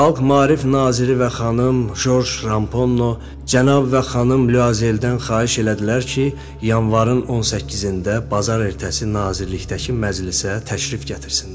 Xalq maarif naziri və xanım Joz Rampo, cənab və xanım Liyazeldən xahiş elədilər ki, yanvarın 18-də bazar ertəsi nazirlikdəki məclisə təşrif gətirsinlər.